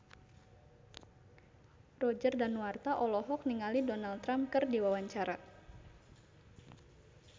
Roger Danuarta olohok ningali Donald Trump keur diwawancara